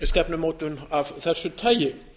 stefnumótun af þessu tagi